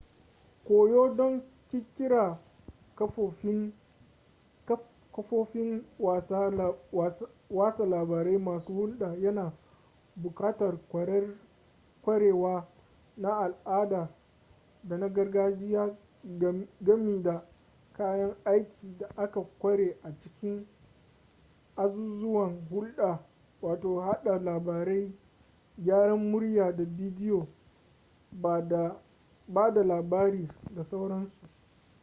koyo don ƙirƙirar kafofin watsa labarai masu hulɗa yana buƙatar kwarewa na al'ada da na gargajiya gami da kayan aikin da aka ƙware a cikin azuzuwan hulɗa hada labarai gyaran murya da bidiyo ba da labari da sauransu